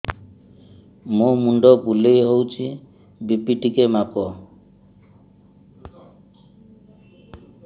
ମୋ ମୁଣ୍ଡ ବୁଲେଇ ହଉଚି ବି.ପି ଟିକେ ମାପ